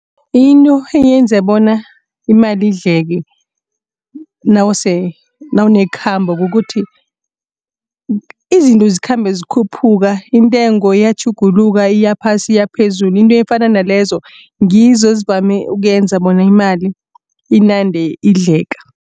Into eyenza bona imali idleke nawunekhambo kukuthi izinto zikhambe zikhuphuka intengo iyatjhuguluka iyaphasi iyaphezulu into efana nalezo ngizo ezivame ukuyenza bona imali inande idleka.